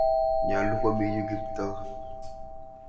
Nyalu komi yu Kiptoo .